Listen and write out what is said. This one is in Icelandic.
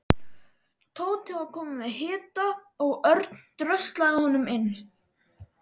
Tóti var kominn með hita og Örn dröslaði honum inn.